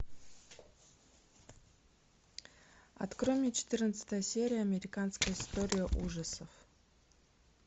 открой мне четырнадцатая серия американская история ужасов